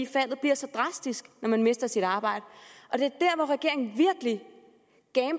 faldet bliver så drastisk når man mister sit arbejde det